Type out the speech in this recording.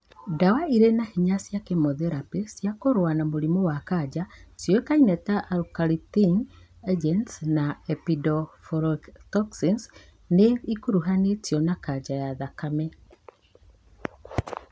Ndawa irĩ na hinya cia kemotherapĩ cia kũrũa na mũrimũ wa kanja ciũĩkaine ta alkylating agents na epipodophyllotoxins nĩ ikuruhanĩtio na kanja ya thakame